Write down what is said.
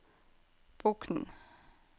Bokn